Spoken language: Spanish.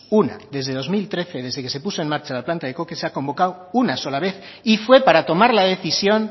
una desde dos mil trece desde que se puso en marcha la planta de coque se ha convocado una sola vez y fue para tomar la decisión